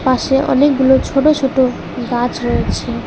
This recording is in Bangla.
পাশে অনেকগুলো ছোট ছোট গাছ রয়েছে।